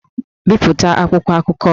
Bipụta akwụkwọ akụkọ!